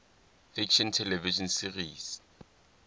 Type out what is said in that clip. fiction television series